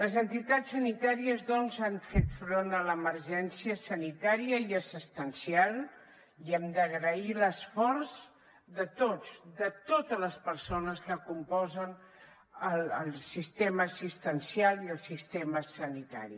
les entitats sanitàries doncs han fet front a l’emergència sanitària i assistencial i hem d’agrair l’esforç de tots de totes les persones que componen el sistema assistencial i el sistema sanitari